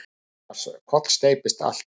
Annars kollsteypist allt.